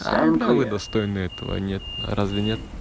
а бля когда вы достойны этого а нет а разве нет